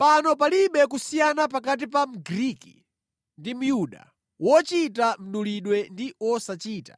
Pano palibe kusiyana pakati pa Mgriki ndi Myuda, wochita mdulidwe ndi wosachita,